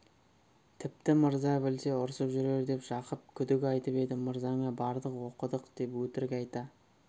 тіпті мырза білсе ұрсып жүрер деп жақып күдік айтып еді мырзаңа бардық оқыдық деп өтірік айта